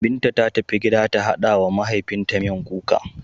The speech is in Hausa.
Binta ta tafi gida ta haɗa wa mahaifinta miyan kuka.